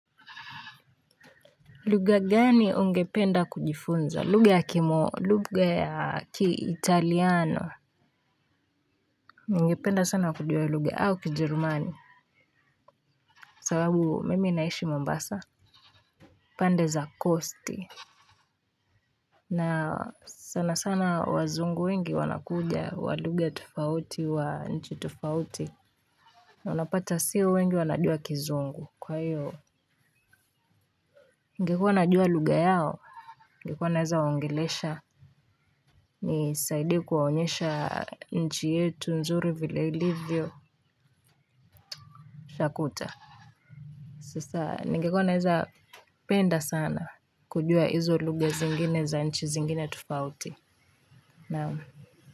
Lugha gani ungependa kujifunza, lugha ya lugha ya kiitaliano. Ungependa sana kujua lugha au kijerumani sababu mimi naishi Mombasa Pande za kosti. Na sana sana wazungu wengi wanakuja wa lugha tofauti wa nchi tofauti. Na unapata sio wengi wanajua kizungu kwa hiyo ningekua najua lugha yao ningekua naweza waongelesha. Nisaidie kuwaonyesha nchi yetu nzuri vile ilivyo takuta. Sasa ningekua naweza penda sana kujua hizo lugha zingine za nchi zingine tofauti naam.